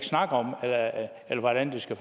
snakke om det hvordan skal